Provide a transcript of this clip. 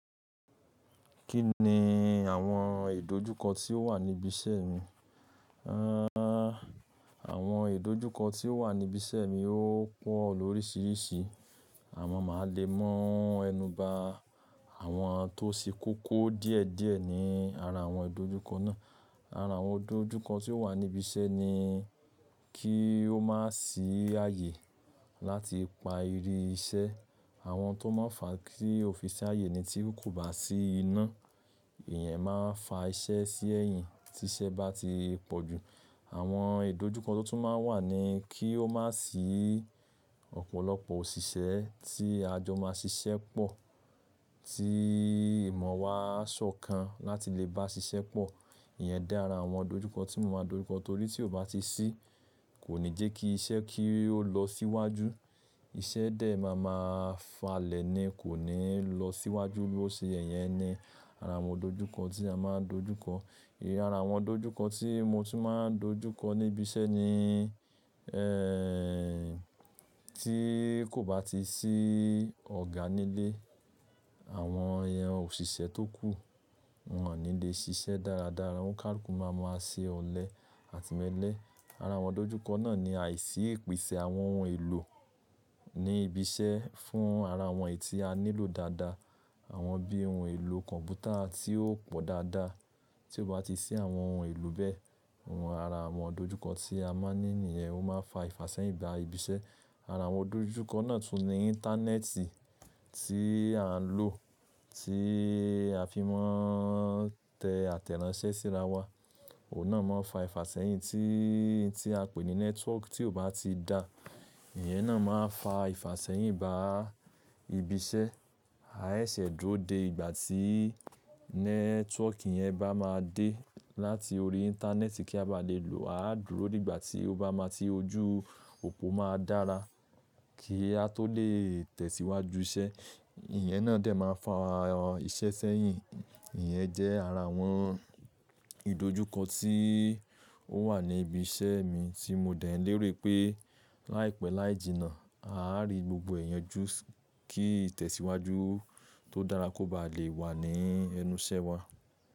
Kí ni àwọn ìdojúkọ tí ó wà níbi iṣẹ́ mi? Àwọn ìdojúkọ tí ó wà níbi iṣẹ́ mi ó pọ̀ lórísìírísìí. A máa le mu ẹnu ba àwọn tó se kóko díẹ̀díẹ̀ ní ara àwọn ìdojúkọ náà. Ara àwọn ìdojúkọ tí ó wà níbi iṣẹ́ ni kí ó má sì ààyè láti pa ri iṣẹ́. Àwọn tó máa fà á kí ọ́físà ààyè ni tí kò bá sí iná, ìyẹn máa fà iṣẹ́ sí ẹ̀yìn tí iṣẹ́ bá ti pọ̀ jù. Àwọn ìdojúkọ tó tún máa wà ni kí ó má sì ọ̀pọ̀lọpọ̀ òṣìṣẹ́ tí a jọ máa ṣiṣẹ́ pọ̀, tí ìmọ̀ wa a sọ̀kan láti lè bá ṣiṣẹ́ pọ̀. Ìyẹn dá ara àwọn ìdojúkọ tí mo máa dojúkọ torí tí ó bá ti ṣí, kò ní jẹ́ kí iṣẹ́ kí ó lọ síwájú. Iṣẹ́ dẹ̀ máa ma falẹ̀ ni kò ní lọ síwájú bí ó ṣe yẹn ni ara àwọn ìdojúkọ tí a máa dojúkọ. Ìhín ara àwọn ìdojúkọ tí mo tún máa dojúkọ níbi iṣẹ́ ni tí kò bá ti sí ọ̀gá nílé, àwọn èèyàn òṣìṣẹ́ tó kù wọn ò ní le ṣiṣẹ́ dáradára. Ọ́hunn kálùkú máa ma ṣe ọ̀lẹ àtimelẹ̀. Ara àwọn ìdojúkọ náà ni àìsí ìpèsè àwọn ohun èlò ní ibi iṣẹ́ fún ara àwọn èyí tí a nílò dáadáa. Àwọn bí ohun èlò kọ̀m̀pútà tí ó pọ̀ dáadáa tí ó bá ti ṣí àwọn ohun èlò bẹ́ẹ̀, ohun ara àwọn ìdojúkọ tí a máa ní nìyẹn ó máa fà ìfasẹ̀yìn bá ibi iṣẹ́. Ara àwọn ìdojúkọ náà tún ní íńtánẹ́ẹ̀tì tí à ń lò tí a fi máa tẹ àtẹ̀ránsẹ́ síra wá, òun náà máa fà ìfasẹ̀yìn tí, tí a pè ní nẹ́tíwọ́ọ̀kì tí ó bá ti dá, ìyẹn náà máa fà ìfasẹ̀yìn bá ibi iṣẹ́. A seṣẹ̀ dúró dé ìgbà tí nẹ́tíwọ́ọ̀kì yẹn bá máa dé láti orí íńtánẹ́ẹ̀tì kí a bá lè lò ọ́. A á dúró dé ìgbà tí ó bá máa ti ojú òpó máa dára kí a tó lè tẹ̀síwájú iṣẹ́. Ìyẹn náà dẹ̀ máa fà iṣẹ́ sẹ́yìn. Ìyẹn jẹ́ ara àwọn ìdojúkọ tí ó wà ní ibi iṣẹ́ mi tí mo dẹ̀ ń léro pé láìpẹ́ láì jìnnà, aá rí gbogbo e yanju kí ìtẹ̀síwájú tó dára kó bá lè wà ní ẹnu iṣẹ́ wa.